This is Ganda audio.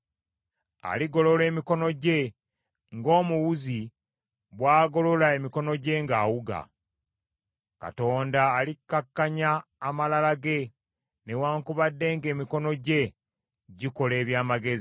Aligolola emikono gye, ng’omuwuzi bw’agolola emikono gye ng’awuga. Katonda alikkakkanya amalala ge newaakubadde ng’emikono gye gikola eby’amagezi.